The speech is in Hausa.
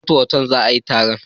A Transcorp otal za a yi taron